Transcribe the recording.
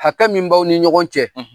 Hakɛ min b' aw ni ɲɔgɔn cɛ;